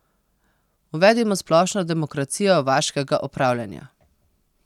Uvedimo splošno demokracijo vaškega opravljanja.